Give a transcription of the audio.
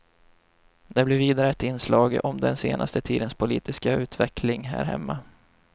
Det blir vidare ett inslag om den senaste tidens politiska utvecklingen här hemma.